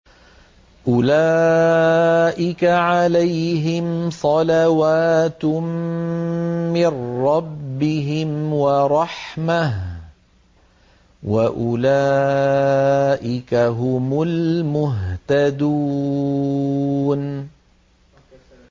أُولَٰئِكَ عَلَيْهِمْ صَلَوَاتٌ مِّن رَّبِّهِمْ وَرَحْمَةٌ ۖ وَأُولَٰئِكَ هُمُ الْمُهْتَدُونَ